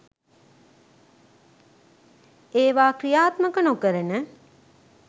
ඒවා ක්‍රියාත්මක නොකරන